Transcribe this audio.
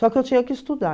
Só que eu tinha que estudar.